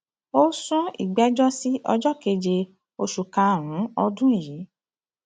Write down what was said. ó sún ìgbẹjọ sí ọjọ keje oṣù karùnún ọdún yìí